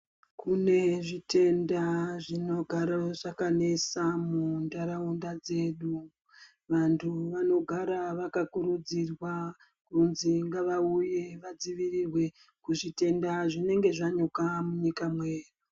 Kune zvitenda zvinogaro zvakanesa muntaraunda dzedu. Vantu vanogara vakakurudzirwa kunzi ngavauye vadzivirirwe kuzvitenda zvinenga zvanyuka munyika mwedu.